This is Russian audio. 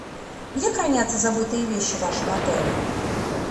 где хранятся забытые вещи в вашем отеле